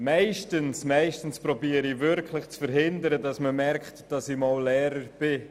Meistens versuche ich zu verhindern, dass man merkt, dass ich einmal Lehrer war.